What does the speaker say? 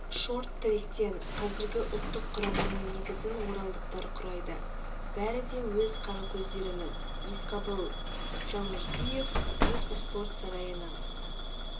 шорт-тректен қазіргі ұлттық құраманың негізін оралдықтар құрайды бәрі де өз қаракөздеріміз есқабыл жалмұрзиев мұз спорт сарайының